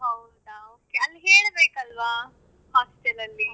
ಅಯ್ಯೋ ಹೌದಾ okay ಅಲ್ಲಿ ಹೇಳಬೇಕಲ್ವಾ hostel ಅಲ್ಲಿ.